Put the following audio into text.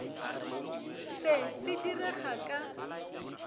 se se di rega ka